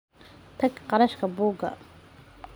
Tag kharashka buugga.